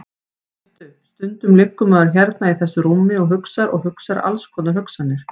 Veistu. stundum liggur maður hérna í þessu rúmi og hugsar og hugsar alls konar hugsanir.